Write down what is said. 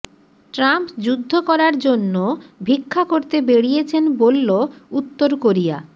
Trump যুদ্ধ করার জন্য ভিক্ষা করতে বেড়িয়েছেন বলল উত্তর কোরিয়া